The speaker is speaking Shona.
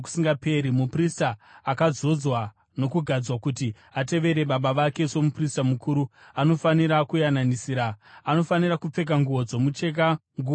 Muprista akazodzwa nokugadzwa kuti atevere baba vake somuprista mukuru anofanira kuyananisira. Anofanira kupfeka nguo dzomucheka, nguo tsvene